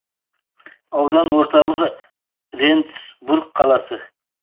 аудан орталығы рендсбург қаласы